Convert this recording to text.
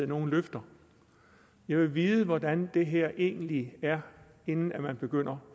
nogen løfter jeg vil vide hvordan det her egentlig er inden man begynder